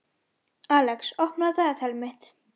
Alex, opnaðu dagatalið mitt.